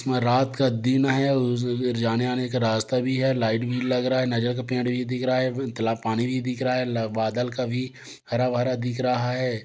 रात का दिन है और जाने आने का रास्ता भी है लाइट भी लग रहा है नज़र का पेंट भी दिख रहा है तालाब पानी भी दिख रहा है बादल कभी हरा-भरा दिख रहा है।